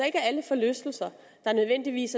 ikke er alle forlystelser der nødvendigvis